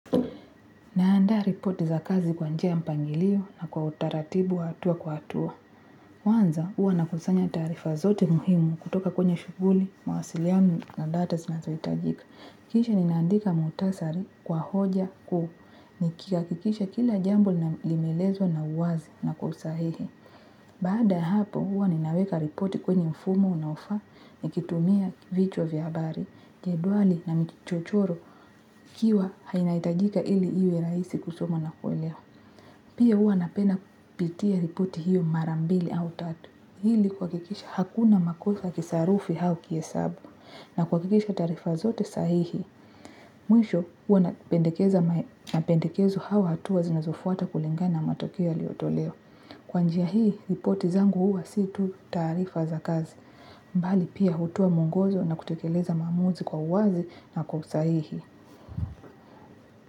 Naandaa ripoti za kazi kwa njia ya mpangilio na kwa utaratibu wa hatua kwa hatua. Kwanza huwa nakusanya taarifa zote muhimu kutoka kwenye shughuli, mawasiliano na data zinazohitajika. Kisha ninaandika muhtasari kwa hoja kuu, nikihakikisha kila jambo na limeelezwa na uwazi na kwa usahihi. Baada ya hapo huwa ninaweka ripoti kwenye mfumo unaofaa nikitumia vichwa va habari jedwali na michiro hiyo inahitajika ili iwe rahisi kusoma na kuelewa pia huwa napenda kupitia ripoti hiyo mara mbili au tatu. Ili kuhakikisha hakuna makosa ya kisarufi au kihesabu. Na kwa kikisha tarifa zote sahihi. Mwisho huwa napendekeza mapendekezo au hatua zinazofuata kulingana na matokea yaliotolewa. Kwa njia hii, ripoti zangu huwa si tu taarifa za kazi. Bali pia hutoa mwongozo na kutekeleza maamuzi kwa uwazi na kwa usahihi.